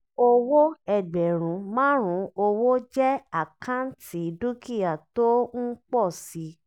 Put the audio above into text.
owó ẹgbẹ̀rún márùn-ún owó jẹ́ àkáǹtì dúkìá tó ń pọ̀ si.